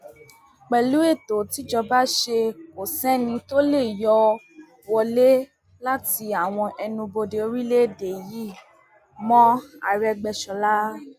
pẹlú ètò tìjọba ṣe kò sẹni tó lè yọ wọlé láti àwọn ẹnuubodè orílẹèdè yìí mọ àrègbéṣọlá